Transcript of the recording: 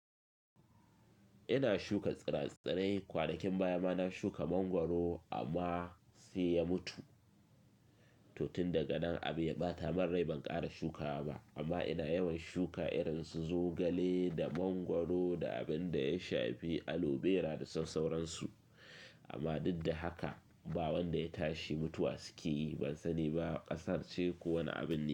Ina shuka tsira-tsirai kwanakin baya. Kuma na shuka mangwaro amma sai ya mutu. To tun daga nan abu ya ɓata min rai. Ban ƙara shukawa ba amma ina yawan shuka irin su zogale da mangwaro da abin da ya shafi alobera da sauransu. Amma duk da haka ba wanda ya tashi mutuwa suke yi. Ban sani ba, ƙasar ce ko wane abin ne?